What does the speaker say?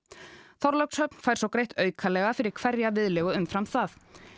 Þorlákshöfn fær svo greitt aukalega fyrir hverja viðlegu umfram það